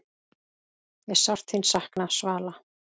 Ég sárt þín sakna, Svala.